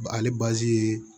Ale ye